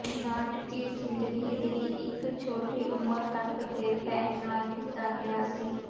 ਨਾਟਕੀ ਜ਼ਿੰਦਗੀ ਦੀ ਇੱਕ ਛੋਟੀ ਉਮਰ ਤੱਕ ਦੇ ਭੈਣ ਨਾਲ ਕੀਤਾ ਗਿਆ ਸੀ